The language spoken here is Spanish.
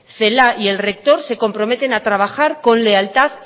celaá y el rector se comprometen a trabajar con lealtad